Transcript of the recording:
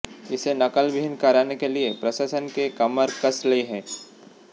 इसे नकलविहीन कराने के लिए प्रशासन के कमर कस ली है